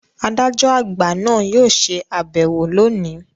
“Adájọ àgbà ” náà yóò ṣe àbẹ̀wò lóòní.